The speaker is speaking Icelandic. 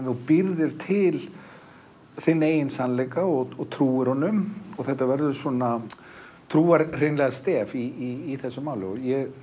þú býrð þér til eigin sannleika og trúa honum þetta verður svona trúarstef í þessu máli